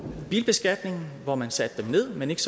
bilbeskatningen hvor man satte den ned men ikke